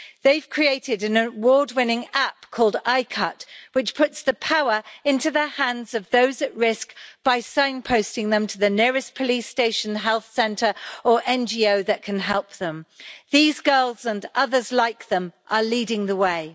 They've created an award winning app called i Cut', which puts the power into the hands of those at risk by sign posting them to the nearest police station, health centre or NGO that can help them. These girls, and others like them, are leading the way.